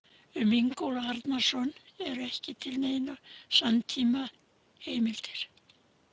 Um Ingólf Arnarson eru ekki til neinar samtímaheimildir.